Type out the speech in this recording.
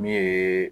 Min ye